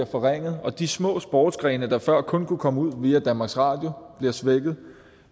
forringet og de små sportsgrene der før kun kunne komme ud via danmarks radio bliver svækket